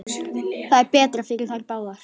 Það er betra fyrir þær báðar.